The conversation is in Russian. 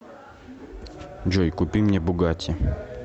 джой купи мне бугатти